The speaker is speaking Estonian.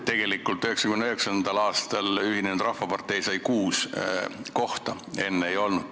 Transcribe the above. Tegelikult sai 1999. aastal Ühendatud Rahvapartei kuus kohta, enne teda ei olnud.